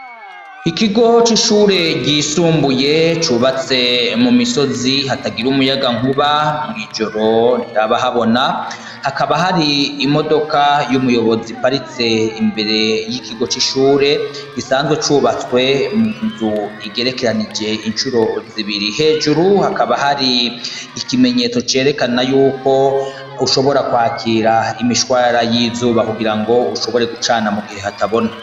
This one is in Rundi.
Ikigo c'amashuri ryisumbuye cubatse mumisozi hatagira umuyagankuba mw'ijoro ntihaba habona hakaba hari imodoka y'umuyobozi iparitse imbere y'ikigo c'ishure gisanzwe cubatswe munivo igerekeranije incuro zibiri. Hejuru hakaba hari ikimenyetso cerekana yuko ushobora kwakira imishwarara y'izuba kugirango ushobore gucana mugihe hatabona.